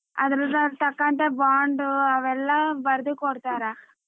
ಅದ್ರ ತಕ್ಕಂತೆ bond ಅವೆಲ್ಲ ಬರ್ದು ಕೊಡ್ತಾರ.